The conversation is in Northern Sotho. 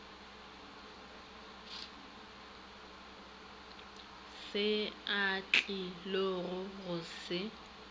se a tlilogo go se